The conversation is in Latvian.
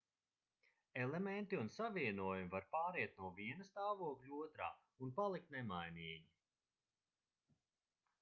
elementi un savienojumi var pāriet no viena stāvokļa otrā un palikt nemainīgi